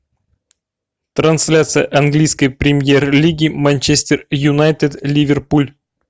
трансляция английской премьер лиги манчестер юнайтед ливерпуль